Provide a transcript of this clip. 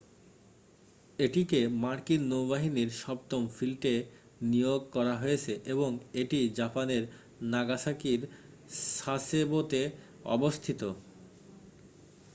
এটিকে মার্কিন নৌবাহিনীর সপ্তম ফ্লিটে নিয়োগ করা হয়েছে এবং এটি জাপানের নাগাসাকির সাসেবোতে অবস্থিত